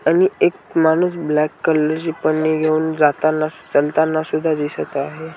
आणि एक माणूस ब्लॅक कलरची पन्नी घेऊन जाताना चालताना सुद्धा दिसत आहे.